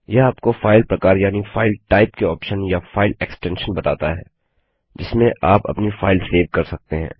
यह आपको फाइल प्रकार यानि फाइल टाइप के ऑप्शन या फाइल एक्सटेंशन बताता है जिसमें आप अपनी फाइल सेव कर सकते हैं